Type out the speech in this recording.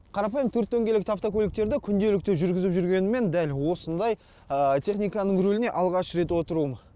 қарапайым төрт дөңгелекті автокөліктерді күнделікті жүргізіп жүргеніммен дәл осындай техниканың рөліне алғаш рет отыруым